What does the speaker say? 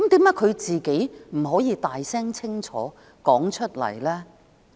為何她不可以大聲清楚表明？